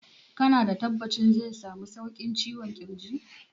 Ka na da tabbacin zai samu sauƙin ciwon ƙirjin?